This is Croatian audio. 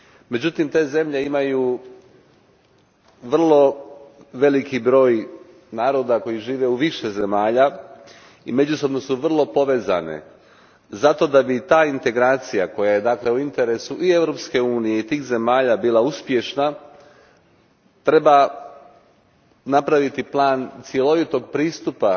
Međutim, te zemlje imaju vrlo velik broj naroda koji žive u više zemalja i međusobno su vrlo povezane. Kako bi ta integracija, koja je dakle u interesu i Europske unije i tih zemalja, bila uspješna, treba napraviti plan cjelovitog pristupa